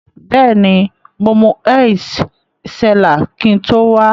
Beeni, mo mu Heitz Cellar kin to wa.